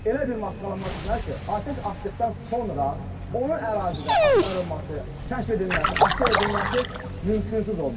Elə bir maskalanma seçməlidir ki, atəş atdıqdan sonra onun ərazidə axtarılması, kəşf edilməsi, aşkar edilməsi mümkünsüz olmalıdır.